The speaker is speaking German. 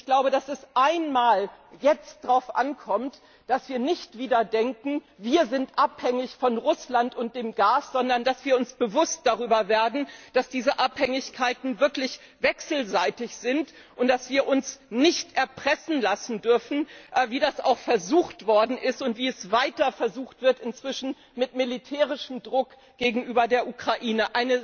Und ich glaube, dass es jetzt darauf ankommt, dass wir nicht wieder denken, wir sind abhängig von Russland und dem Gas, sondern dass wir uns darüber bewusst werden, dass diese Abhängigkeiten wirklich wechselseitig sind, und dass wir uns nicht erpressen lassen dürfen, wie das auch versucht worden ist und wie es weiter versucht wird inzwischen mit militärischem Druck gegenüber der Ukraine.